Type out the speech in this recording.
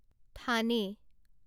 থানে